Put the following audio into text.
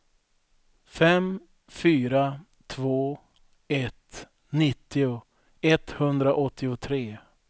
fem fyra två ett nittio etthundraåttiotre